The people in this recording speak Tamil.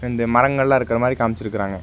இந்த மரங்கல்லா இருக்கற மாரி காமிச்சிருக்கறாங்க.